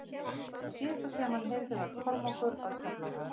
Það síðasta sem hann heyrði var Kormákur að kalla á hann.